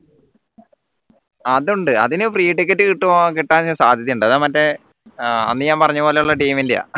അതുണ്ട് അതിനെ free ticket കിട്ടുവോ കിട്ടാൻ സാധ്യത ഉണ്ട് അത് മറ്റേ ആഹ് അന്ന് ഞാൻ പറഞ്ഞ പോലുള്ള team ൻറെയാ